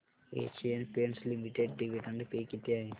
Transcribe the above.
Asian Paints Limited dividend pay किती आहे